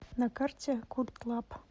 на карте культлаб